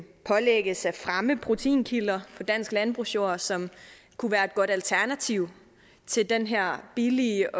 pålægges at fremme proteinkilder på dansk landbrugsjord som kunne være et godt alternativ til den her billige